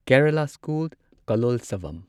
Kerala school Kalolsavam